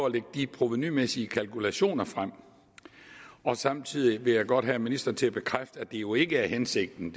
at lægge de provenumæssige kalkulationer frem og samtidig vil jeg godt have ministeren til at bekræfte at det jo ikke er hensigten